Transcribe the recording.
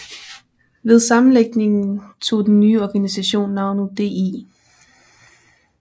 Ved sammenlægningen tog den nye organisation navnet DI